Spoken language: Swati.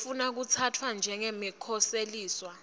lofuna kutsatfwa njengemkhoseliswa